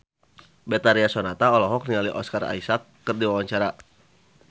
Betharia Sonata olohok ningali Oscar Isaac keur diwawancara